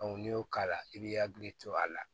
n'i y'o k'a la i b'i hakili to a la